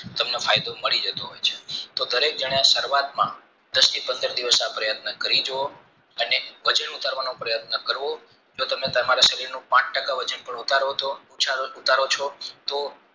તમને ફાયદો મળી જતો હોય છે તો દરેક જન એ સરુવાત માં દષ્ટિ પંદર દિવસ આ પ્રયત્ન કરી જુઓ અને વજન ઉતારવાનો પ્રયત્ન કરવો તો તમે તમારી શૈલી નું પાંચ ટકા વજન પણ ઉતારો છો તો